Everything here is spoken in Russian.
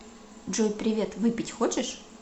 джой привет выпить хочешь